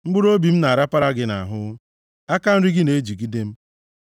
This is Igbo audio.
Mkpụrụobi m na-arapara gị nʼahụ; aka nri gị na-ejigide m.